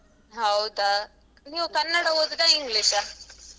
ಹೌದಾ. ನೀವ್ ಕನ್ನಡ ಓದುದ English ?